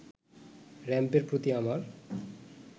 র‌্যাম্পের প্রতি আমার